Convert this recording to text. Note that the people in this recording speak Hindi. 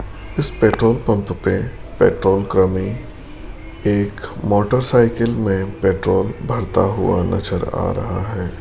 इस पेट्रोल पंप पे पेट्रोल कर्मी एक मोटरसाइकिल में पेट्रोल भरता हुआ नजर आ रहा है।